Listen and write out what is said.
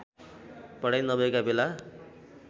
पढाइ नभएका बेला